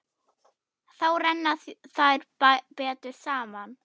Þá renna þær betur saman.